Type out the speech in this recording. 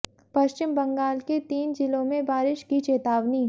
पश्चिम बंगाल के तीन जिलों में बारिश की चेतावनी